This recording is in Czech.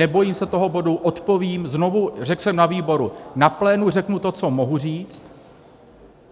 Nebojím se toho bodu, odpovím, znovu, řekl jsem na výboru, na plénu řeknu to, co mohu říct,